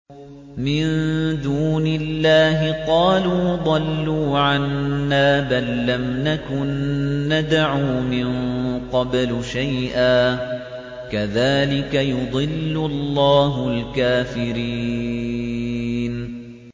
مِن دُونِ اللَّهِ ۖ قَالُوا ضَلُّوا عَنَّا بَل لَّمْ نَكُن نَّدْعُو مِن قَبْلُ شَيْئًا ۚ كَذَٰلِكَ يُضِلُّ اللَّهُ الْكَافِرِينَ